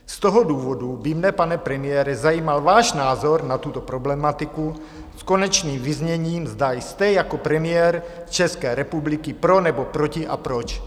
Z toho důvodu by mne, pane premiére, zajímal váš názor na tuto problematiku s konečným vyzněním, zda jste jako premiér České republiky pro, nebo proti a proč.